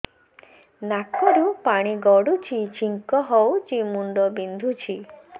ନାକରୁ ପାଣି ଗଡୁଛି ଛିଙ୍କ ହଉଚି ମୁଣ୍ଡ ବିନ୍ଧୁଛି